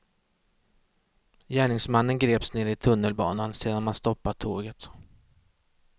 Gärningsmannen greps nere i tunnelbanan, sedan man stoppat tåget.